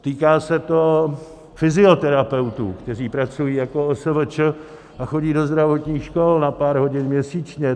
Týká se to fyzioterapeutů, kteří pracují jako OSVČ a chodí do zdravotních škol na pár hodin měsíčně.